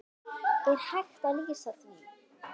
Er hægt að lýsa því?